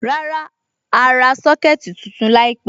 Rárá, a à ra Sọ́kẹ̀tì tuntun láìpẹ̀.